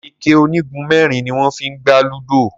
ikẹ onigunmẹrin ní wón fí gbà ludo.